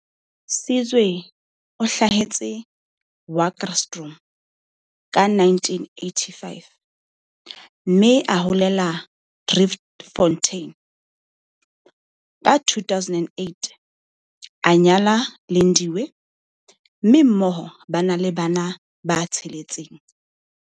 Sizwe o hlahetse Wakkerstroom ka 1985, mme a holela Driefontein. Ka 2008 a nyala Lindiwe, mme mmoho ba na le bana ba tsheletseng.